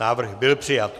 Návrh byl přijat.